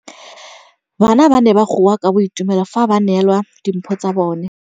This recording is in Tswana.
Bana ba ne ba goa ka boitumelo fa ba neelwa dimphô tsa bone.